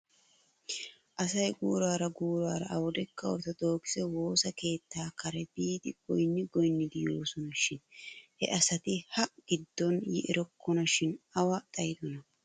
Asay guuraara guuraara awdekka orttodokise woossa keettaa kare biidi goynni goynnidi yoosona shin he asati ha giddon yi erokkona shin awa xayidonaa?